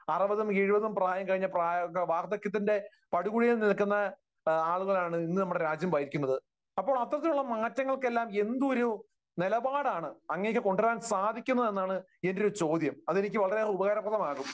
അറുപതും എഴുപതും പ്രായം കഴിഞ്ഞ, വാർദ്ധക്യത്തിന്റെ പടുകുഴിയിൽ നിൽക്കുന്ന ആളുകളാണ് ഇന്ന് നമ്മുടെ രാജ്യം ഭരിക്കുന്നത്. അപ്പോൾ അത്തരത്തിലുള്ള മാറ്റങ്ങൾക്കെല്ലാം എന്തൊരു നിലപാടാണ് അങ്ങേയ്ക്കു കൊണ്ടുവരാൻ സാധിക്കുന്നതെന്നാണ് എന്റെ ഒരു ചോദ്യം. അതെനിക്ക് വളരെയേറെ ഉപകാരപ്രദമാകും.